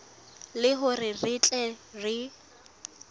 le hore re tle re